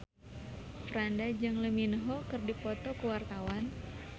Franda jeung Lee Min Ho keur dipoto ku wartawan